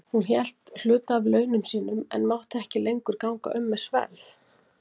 Hún hélt hluta af launum sínum en mátti ekki lengur ganga um með sverð.